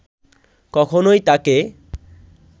কখনোই তাঁকে